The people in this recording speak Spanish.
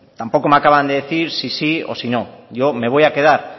tampoco me acaban de decir si sí o si no yo me voy a quedar